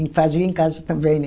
E fazia em casa também, né?